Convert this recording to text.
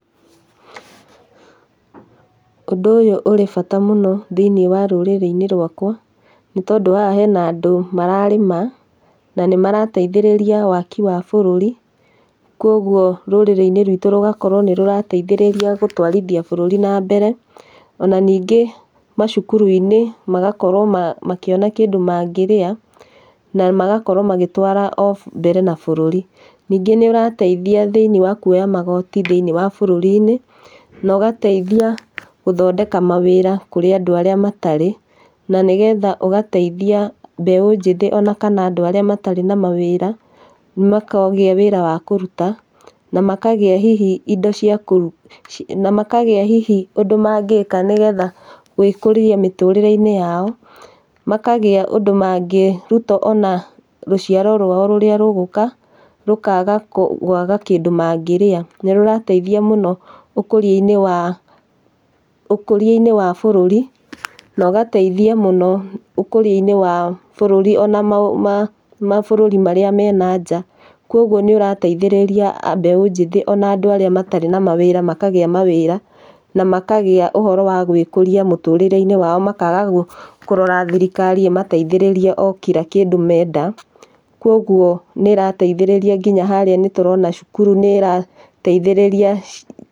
Ũndũ ũyũ ũrĩ bata mũno thĩiniĩ wa rũrĩrĩ rwakwa, nĩ tondũ haha he na andũ mararĩma, na nĩ marateithĩrĩria waki wa bũrũri, kogwo rũrĩrĩ-inĩ rwitũ rũgakorwo nĩ rũrateithĩrĩria gũtũarithia bũrũri na mbere. Ona nyingĩ macukuru-inĩ magakorwo ma makĩona kĩndũ mangĩrĩa, na magakorwo magĩtwara o mbere na bũrũri. Nyingĩ nĩũateithia thĩiniĩ wa kuoya magoti thĩiniĩ wa bũrũri-inĩ, nyingĩ nĩ ũratethia gũthondeka mawira kũrĩ andũ arĩa matarĩ, na nĩ getha ũgateithia mbeũ njĩthĩ kana andũ arĩa matarĩ na mawĩra, makagĩa wĩra wa kũruta, na makagĩa hihi makagĩa ũndũ mangĩka nĩgetha hihigwĩkũria, mĩtũrĩre-inĩ yao, makagĩa ũndũ mangĩruta ona rũciari rwao rũrĩa rũgũka rũkaga kwaga kĩndũ mangĩrĩa. Nĩ rũrateithiĩa mũno ũkũria-inĩ wa bũrũri, na rũgateithia ũkũria wa bũrũri ona mabũrũri marĩa me nanja. Kogwo ĩũrateithĩrĩria mbeũ njĩthĩ ona arĩa matarĩ na mawĩra, na makagĩa ũhoro wa gwĩkũria mĩtũrĩre-inĩ yao na makaga kũrora thirikari ĩmateithĩrĩrie o kira kĩndũ menda, koguo nĩ ĩrateithĩrĩria nginya harĩa nĩ tũrona cukuru nĩ ĩra, teithĩrĩria .